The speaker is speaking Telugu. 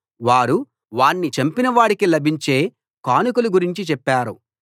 వారు వాణ్ణి చంపినవాడికి లభించే కానుకల గురించి చెప్పారు